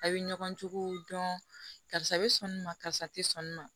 A' bɛ ɲɔgɔn juguw dɔn karisa bɛ sɔn nin ma karisa tɛ sɔn nin ma